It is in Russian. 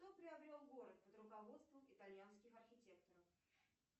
кто приобрел город под руководством итальянских архитекторов